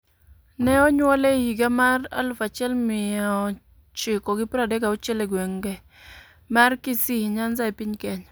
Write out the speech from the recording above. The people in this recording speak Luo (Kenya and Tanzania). Ne onyuole e higa mar 1936 e gweng' mar Kisii, Nyanza e piny Kenya.